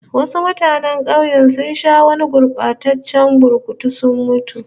Wasu mutanen kauye sun sha gurbataccen burkutu sun mutu